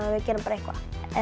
við gerðum bara eitthvað